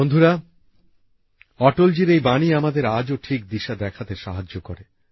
বন্ধুরা অটলজির এই বাণী আমাদের আজও ঠিক দিশা দেখাতে সাহায্য করে